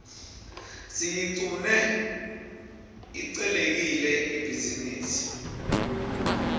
siyiqune ihcelekile ibhizinisi